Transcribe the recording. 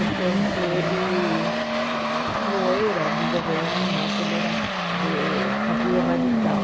Então ele não era do governo, mas ele era do partido radical.